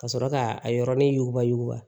Ka sɔrɔ k'a a yɔrɔnin yuba yuguba